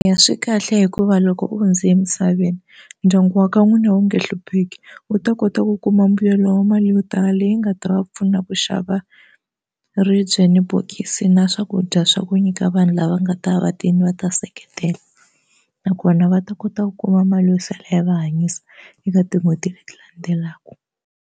Ya swikahle hikuva loko u hundze emisaveni ndyangu wa ka n'wina wu nge hlupheki u ta kota ku kuma mbuyelo wa mali yo tala leyi nga ta va pfuna ku xava ri byin bokisi na swakudya swa ku nyika vanhu lava nga ta va tele va ta seketela nakona va ta kota ku kuma mali yo sala yi va hanyisa eka tin'hweti leti landzelaka.